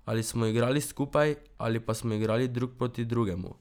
Ali smo igrali skupaj ali pa smo igrali drug proti drugemu.